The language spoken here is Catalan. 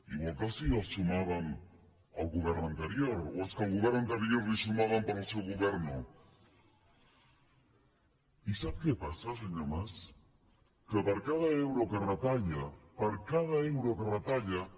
igual que sí que els sumàvem el govern anterior o és que al govern anterior li ho sumaven però al seu govern no mas que per cada euro que retalla per cada euro que retalla